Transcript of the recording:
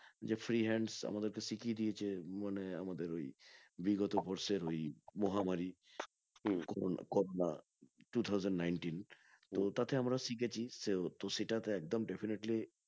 যে free hands আমাদেরকে শিখিয়ে দিয়েছে মানে আমাদের ওই বিগত বর্ষের ওই মহামারী করোনা two-thousand nineteen তো তাতে আমরা শিখেছি সেও তো সেটাতে একদম definetly